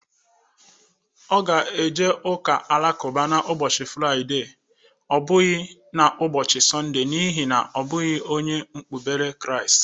Ọ ga-aga ụka alakụba n'ụbọchị fraide ọ bụghi na ụbọchị sọnde n'ihi na ọ bụghi onye okpubere kraist.